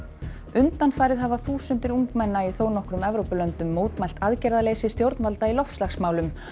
undanfarið hafa þúsundir ungmenna í þónokkrum Evrópulöndum mótmælt aðgerðaleysi stjórnvalda í loftslagsmálum